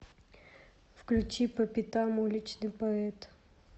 включи по пятам уличный поэт